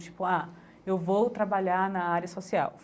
Tipo, ah, eu vou trabalhar na área social.